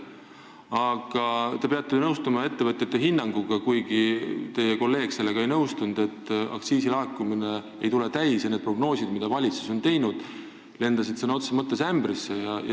Aga te peate nõustuma ettevõtjate hinnanguga – kuigi teie kolleeg sellega ei nõustunud –, et aktsiisilaekumine ei tule täis ja need prognoosid, mida valitsus on teinud, on sõna otseses mõttes ämbrisse lennanud.